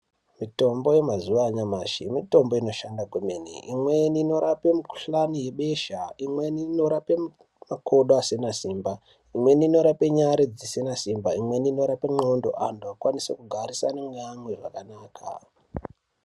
Mitombo yemazuwa anyamashi mitombo inoshanda kwemene imweni inorape mikuhlani yebesha imweni inorape makodo asina simba imweni nyari dzina simba imweni inope ndxondo antu okwanise kugarisane neamwe zvakanaka.